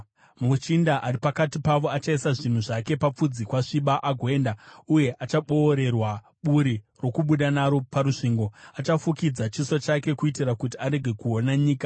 “Muchinda ari pakati pavo achaisa zvinhu zvake papfudzi kwasviba agoenda, uye achaboorerwa buri rokubuda naro parusvingo. Achafukidza chiso chake kuitira kuti arege kuona nyika.